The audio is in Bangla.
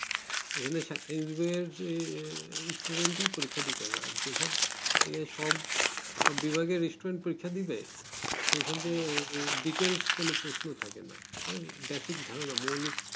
এখানে চাকরি বিবেকের যে student এ পরিক্ষা দিতে পারবে আর যে সব সব যে detales কোনো প্রশ্ন থাকে না বাসি ধারণা মৌলিক